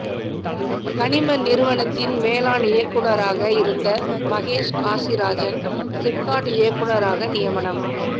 கனிம நிறுவனத்தின் மேலாண் இயக்குனராக இருந்த மகேஷ் காசிராஜன் சிப்காட் இயக்குனராக நியமனம்